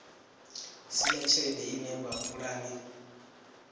si ya tshelede ine vhapulani